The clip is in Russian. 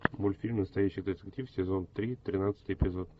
мультфильм настоящий детектив сезон три тринадцатый эпизод